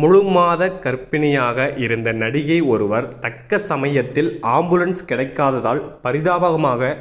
முழுமாத கர்ப்பிணியாக இருந்த நடிகை ஒருவர் தக்க சமயத்தில் ஆம்புலன்ஸ் கிடைக்காததால் பரிதாபமாக